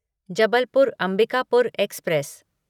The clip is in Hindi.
जबलपुर अंबिकापुर एक्सप्रेस